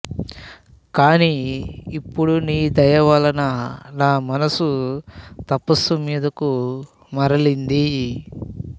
కాని ఇప్పుడు నీ దయ వలన నా మనస్సు తపస్సు మీదకు మరలింది